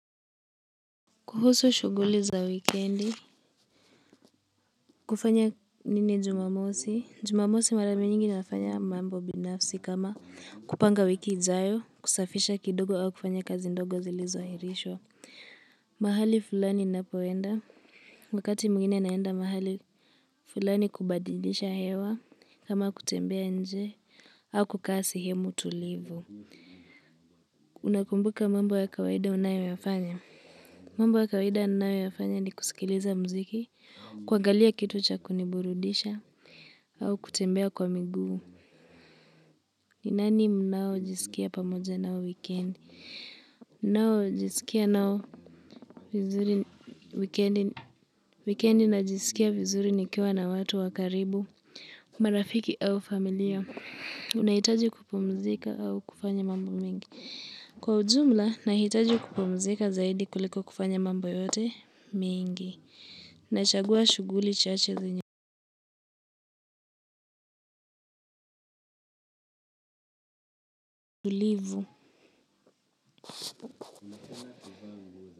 Kuhusu shuguli za wikendi, kufanya nini Jumamosi, Jumamosi mara mingi nafanya mambo binafsi kama kupanga wiki ijayo, kusafisha kidogo au kufanya kazi ndogo zilizo airishwa. Mahali fulani ninapoenda, wakati mwingine naenda mahali fulani kubadilisha hewa kama kutembea nje au kukaa sehemu tulivu. Unakumbuka mambo ya kawaida unayo yafanya? Mambo ya kawaida ninayo yafanya ni kusikiliza mziki, kwagalia kitu cha kuniburudisha, au kutembea kwa miguu. Nani mnao jiskia pamoja nao wikendi? Nao jiskia nao wikendi najiskia vizuri nikiwa na watu wa karibu, marafiki au familia. Nahitaji kupumzika au kufanya mambo mengi. Kwa ujumla, nahitaji kupumzika zaidi kuliko kufanya mambo yote mengi. Nachagua shughuli chache zenye tulivu.